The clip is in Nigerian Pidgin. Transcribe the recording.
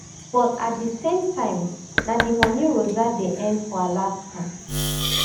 but at di same time na di money rosa dey earn for alaska